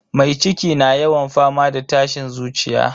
Mai ciki na yawan fama da tashin zuciya.